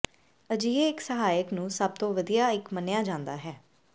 ਅਜਿਹੇ ਇੱਕ ਸਹਾਇਕ ਨੂੰ ਸਭ ਤੋਂ ਵਧੀਆ ਇੱਕ ਮੰਨਿਆ ਜਾਂਦਾ ਹੈ